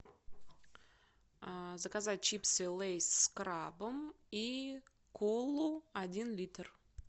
заказать чипсы лейс с крабом и колу один литр